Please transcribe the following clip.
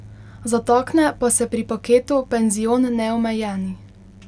Zatakne pa se pri paketu Penzion Neomejeni.